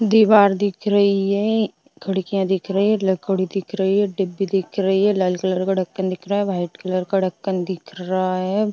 दीवार दिख रही है खिडकियां दिख रही हैं लकड़ी दिख रही है डिब्बी दिख रही है लाल कलर का ढक्कन दिख रहा है व्हाइट कलर का ढक्कन दिख रहा है।